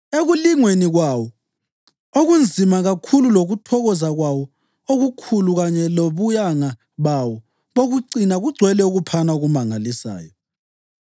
Ekulingweni kwawo okunzima kakhulu lokuthokoza kwawo okukhulu kanye lobuyanga bawo bokucina kugcwele ukuphana okumangalisayo.